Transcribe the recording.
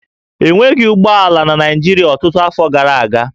E nweghị ụgbọ ala na Naịjirịa ọtụtụ afọ gara aga